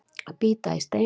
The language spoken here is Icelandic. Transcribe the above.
Að bíta í steininn